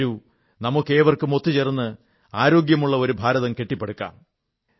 വരൂ നമുക്കേവർക്കും ഒത്തു ചേർന്ന് ഒരു ആരോഗ്യമുള്ള ഭാരതം കെട്ടിപ്പടുക്കാം